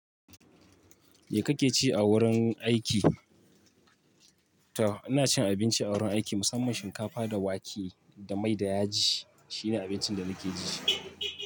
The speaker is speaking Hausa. Me kake ci a wurin aiki? To ina cin abinci a wurin aiki, musamman shinkafa da wake da mai da yaji. Shine abincin da nake ci.